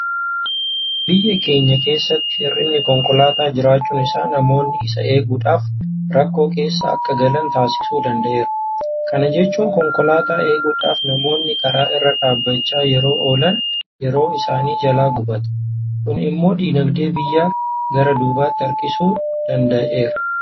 Biyya keenya keessatti hir'inni konkolaataa jiraachuun isaa namoonni isa eeguudhaaf rakkoo keessa akka galan taasisuu danda'eera. Kana jechuun konkolaataa eeguudhaaf namoonni karaa irra dhaabbachaa yeroo oolan yeroon isaanii jalaa gubata. Kun immoo diinagdee biyyaa gara duubaatti harkisuu danda'eera.